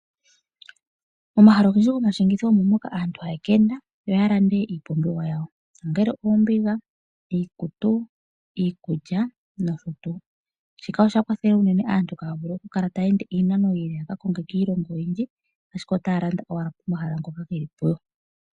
Momahala ogendji gomashingitho omo moka aantu haya ka enda yo ya lande iipumbiwa yawo ongele oombigaiikutu nosho tuu. Shika osha kwathele unene aantu Kaya kale taya ende oondjila ashike otaya landa owala pomahala ngoka gelipo